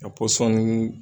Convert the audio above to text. Ka pɔsɔni